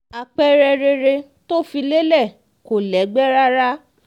àpẹẹrẹ rere tó fi lélẹ̀ kò lẹ́gbẹ́ rárá